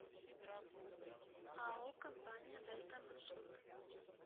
ао компания дельта маршрут